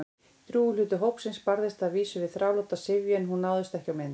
Drjúgur hluti hópsins barðist að vísu við þráláta syfju- en hún náðist ekki á mynd.